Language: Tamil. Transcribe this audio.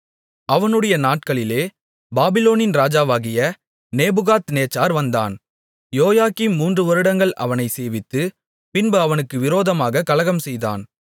அவனுடைய நாட்களிலே பாபிலோனின் ராஜாவாகிய நேபுகாத்நேச்சார் வந்தான் யோயாக்கீம் மூன்று வருடங்கள் அவனைச் சேவித்து பின்பு அவனுக்கு விரோதமாகக் கலகம்செய்தான்